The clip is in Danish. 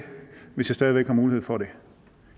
hvis jeg stadig væk har mulighed for det